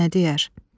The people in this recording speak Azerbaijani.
Arvad nə deyər?